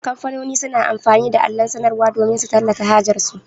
Kamfani suna amfani da allon sanarwar damin su tallata hajar su.